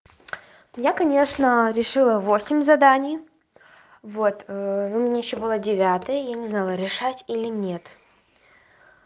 я конечно решила восемь заданий вот ну у меня ещё было девятое я не знала решать или нет